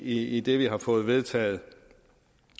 i det vi har fået vedtaget